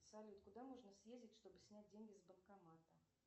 салют куда можно съездить чтобы снять деньги с банкомата